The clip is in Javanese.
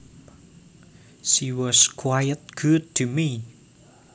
She was quite good to me